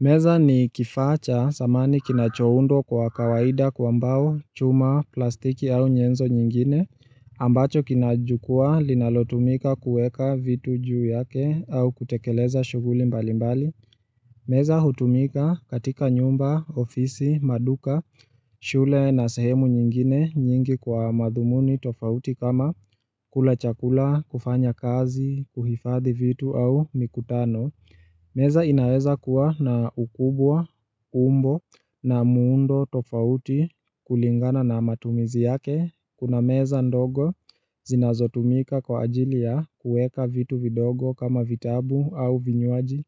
Meza ni kifaacha samani kinachowundwa kwa kawaida kwa mbao chuma plastiki au nyenzo nyingine ambacho kinajukua linalotumika kueka vitu juu yake au kutekeleza shuguli mbali mbali Meza hutumika katika nyumba, ofisi, maduka, shule na sehemu nyingine nyingi kwa madhumuni tofauti kama kula chakula, kufanya kazi, kuhifadhi vitu au mikutano Meza inaweza kuwa na ukubwa umbo na muundo tofauti kulingana na matumizi yake. Kuna meza ndogo zinazotumika kwa ajilia kueka vitu vidogo kama vitabu au vinywaji.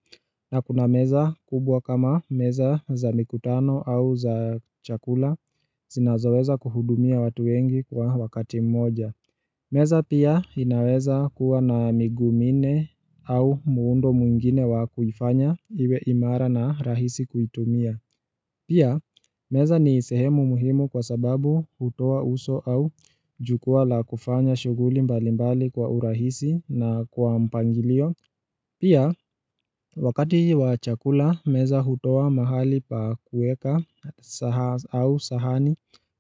Na kuna meza kubwa kama meza za mikutano au za chakula zinazoweza kuhudumia watu wengi kwa wakati mmoja. Meza pia inaweza kuwa na migumine au muundo mungine wa kufanya iwe imara na rahisi kuitumia. Pia, meza ni sehemu muhimu kwa sababu utoa uso au jukwa la kufanya shuguli mbalimbali kwa urahisi na kwa mpangilio. Pia, wakati wa chakula, meza hutowa mahali pa kueka sahani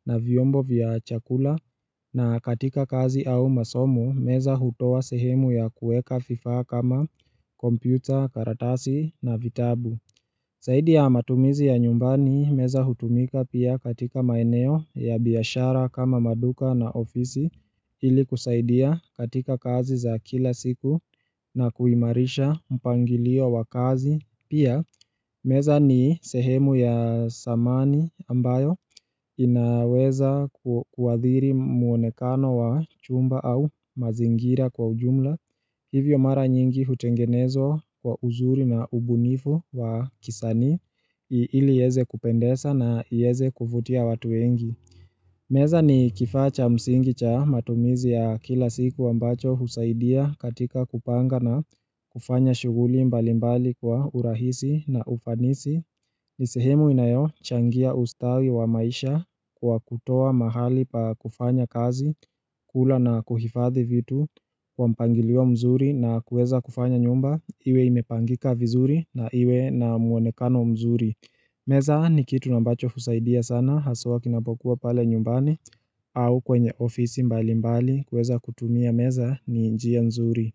na vyombo vya chakula na katika kazi au masomo, meza hutowa sehemu ya kueka vifa kama kompyuta, karatasi na vitabu. Zaidi ya matumizi ya nyumbani meza hutumika pia katika maeneo ya biyashara kama maduka na ofisi ili kusaidia katika kazi za kila siku na kuimarisha mpangilio wa kazi. Pia, meza ni sehemu ya samani ambayo inaweza kuadhiri muonekano wa chumba au mazingira kwa ujumla. Hivyo mara nyingi hutengenezwa kwa uzuri na ubunifu wa kisani ili yeze kupendeza na yeze kufutia watuengi. Meza ni kifacha msingi cha matumizi ya kila siku ambacho husaidia katika kupanga na kufanya shughuli mbalimbali kwa urahisi na ufanisi nisehemu inayo changia ustawi wa maisha kwa kutoa mahali pa kufanya kazi, kula na kuhifadhi vitu, wampangilio mzuri na kueza kufanya nyumba iwe imepangika vizuri na iwe na muonekano mzuri. Meza ni kitu ambacho husaidia sana haswa kinapokuwa pale nyumbani au kwenye ofisi mbali mbali kweza kutumia meza ni njia nzuri.